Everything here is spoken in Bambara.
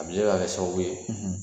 A bɛ se ka kɛ sababu ye